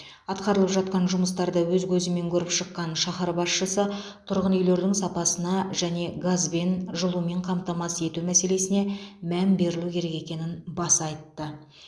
атқарылып жатқан жұмыстарды өз көзімен көріп шыққан шаһар басшысы тұрғын үйлердің сапасына және газбен жылумен қамтамасыз ету мәселесіне мән берілу керек екенін баса айтты